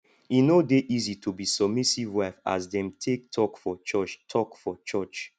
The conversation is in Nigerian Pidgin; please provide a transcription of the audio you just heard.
e no dey easy to be submissive wife as dem take talk for church talk for church